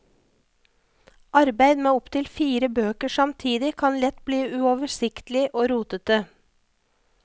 Arbeid med opptil fire bøker samtidig kan lett bli uoversiktlig og rotete.